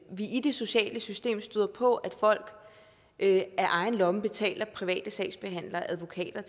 vi i det sociale system støder på at folk af egen lomme betaler private sagsbehandlere og advokater